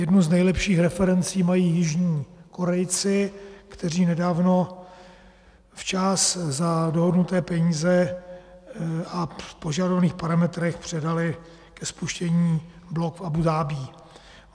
Jednu z nejlepších referencí mají jižní Korejci, kteří nedávno včas za dohodnuté peníze a v požadovaných parametrech předali ke spuštění blok v Abú Dhabí.